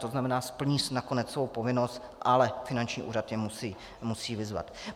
To znamená, splní nakonec svou povinnost, ale finanční úřad je musí vyzvat.